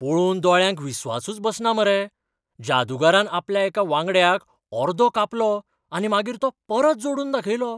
पळोवन दोळ्यांक विश्वासूच बसना मरे, जादुगरान आपल्या एका वांगडच्याक अर्दो कापलो आनी मागीर तो परत जोडून दाखयलो.